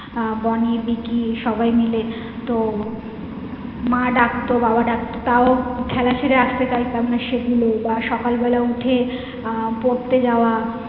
আহ বনি বিকি সবাই মিলে তো মা ডাকতো বাবা ডাকতো তাও খেলা ছেড়ে আস্তে চাইতাম না সেগুলো বা সকাল বেলা উঠে আহ পড়তে যাওয়া।